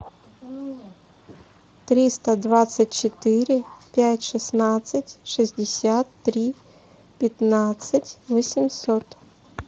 триста двадцать четыре пять шестнадцать шестьдесят три пятнадцать восемьсот